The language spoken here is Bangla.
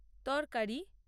তরকারি